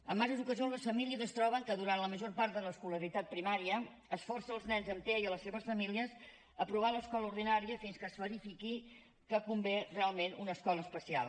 en diverses ocasions les famílies es troben que durant la major part de l’escolaritat primària es força els nens amb tea i les seves famílies a provar l’escola ordinària fins que es verifiqui que convé realment una escola especial